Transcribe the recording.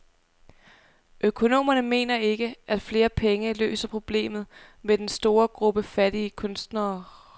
Økonomerne mener ikke, at flere penge løser problemet med den store gruppe fattige kunstnere.